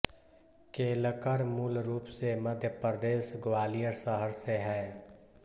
केलकर मूल रूप से मध्य प्रदेश ग्वालियर शहर से है